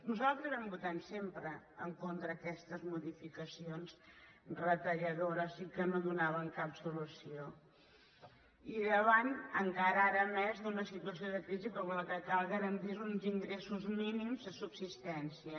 nosaltres vam votar sempre en contra d’aquestes modificacions retalladores i que no donaven cap solució i davant encara ara més d’una situació de crisi en què el que cal garantir són uns ingressos mínims de subsistència